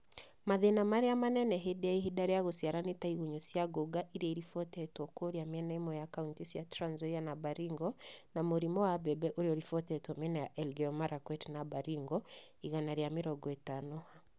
Mathĩna marĩa manene hĩndĩ ya ihinda rĩa gũciara nĩ ta: igunyũ cia ngũnga iria ciribotetwo kũria miena ĩmwe ya kauntĩ cia Trans Nzoia na Baringo; na mũrimu wa mbembe ũria ũtibotetwo miena ya Elgeyo Marakwet na Baringo.(igana rĩa mĩrongo itano Ha).